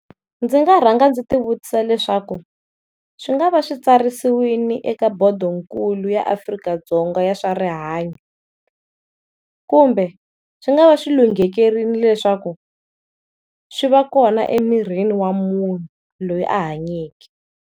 Ndzi nga rhanga ndzi ti vutisa leswaku swi nga va switsarisiwile eka bodonkulu ya Afrika-Dzonga ya swa rihanyo, kumbe swi nga va swilunghekerile leswaku swi va kona emirini wa munhu loyi a hanyeke.